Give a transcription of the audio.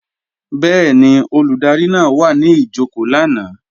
Bẹ́ẹ̀ni, Olùdarí náà wà ní jòkó lánàá